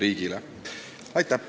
Aitäh!